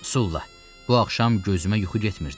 Sulla, bu axşam gözümə yuxu getmirdi.